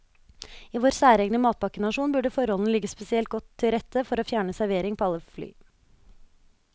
I vår særegne matpakkenasjon burde forholdene ligge spesielt godt til rette for å fjerne servering på alle fly.